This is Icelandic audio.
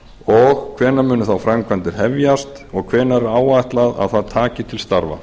mosfellsbæ hvenær munu þá framkvæmdir hefjast og hvenær er áætlað að það taki til starfa